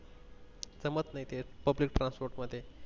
public transport मध्ये